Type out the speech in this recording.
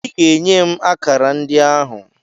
Ị ga-enye m akara ndị ahụ!